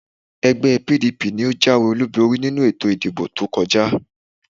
Ẹgbẹ́e PDP ni ó jáwé-olúborí nínú ètò ìdìbò tó kọjá.